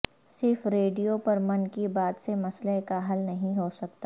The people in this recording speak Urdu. صرف ریڈیو پر من کی بات سے مسئلہ کا حل نہیں ہو سکتا